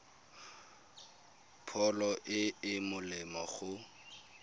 pholo e e molemo go